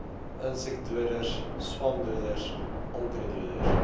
insekdoders swamdoders onkruiddoders